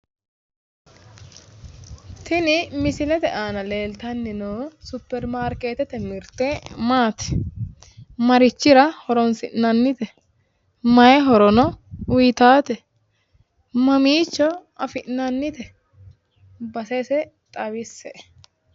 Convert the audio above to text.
Tini misilete aana leeltanni noo supermarkeetete mirte maati? Marichira horoonsi'nannite? Mayii horono uyiitaate ? Mamiicho afi'nannite? Basese xawisse"e?